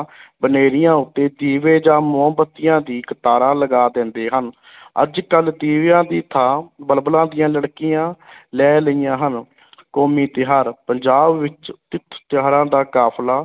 ਬਨੇਰਿਆਂ ਉੱਤੇ ਦੀਵੇ ਜਾਂ ਮੋਮਬੱਤੀਆਂ ਦੀ ਕਤਾਰਾਂ ਲਗਾ ਦੇਂਦੇ ਹਨ ਅੱਜ ਕੱਲ੍ਹ ਦੀਵਿਆਂ ਦੀ ਥਾਂ ਬਲਬਲਾਂ ਦੀਆਂ ਲੜਕੀਆਂ ਲੈ ਲਈਆਂ ਹਨ ਕੌਮੀ ਤਿਉਹਾਰ ਪੰਜਾਬ ਵਿੱਚ ਤਿੱਥ ਤਿਉਹਾਰਾਂ ਦਾ ਕਾਫ਼ਲਾ